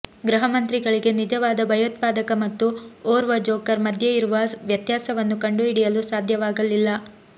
ಗೃಹ ಮಂತ್ರಿಗಳಿಗೆ ನಿಜವಾದ ಭಯೋತ್ಪಾದಕ ಮತ್ತು ಓರ್ವ ಜೋಕರ್ ಮಧ್ಯೆಯಿರುವ ವ್ಯತ್ಯಾಸವನ್ನು ಕಂಡುಹಿಡಿಯಲು ಸಾಧ್ಯವಾಗಲಿಲ್ಲ